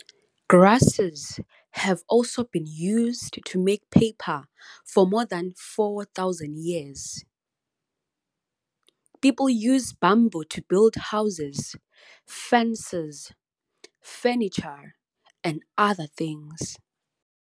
Grasses have also been used to make paper for more than 4000 years. People use bamboo to build houses, fences, furniture and other things.